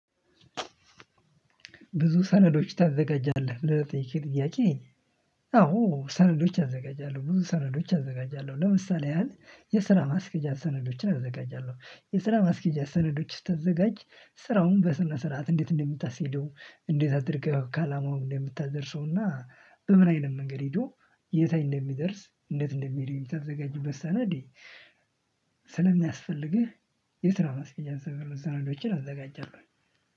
ብዙ ሰነዶች ታዘጋጃለህ? ለጠየከኝ ጥያቄ አዎ ሰነዶች አዘጋጃለሁ። ብዙ ሰነዶች አዘጋጃለሁ። ለምሳሌ ያህል የስራ ማስኬጃ ሰነዶችን አዘጋጃለሁ። የስራ ማስኬጃ ሰነዶች ስታዘጋጅ ስራውን በስነ ስርዓት እንዴት እንደምታስኬደው፤ እንዴት አድርገህ ከአላማው እንደምታደርሰውና በምን አይነት መንገድ ሄዶ የት ላይ እንደሚደርስ፤ እንደት እንደሚሄድ የምታዘጋጅበት ሰነድ ስለሚያስፈልግህ የስራ ማስኬጃ ሰነዶችን አዘጋጃለሁ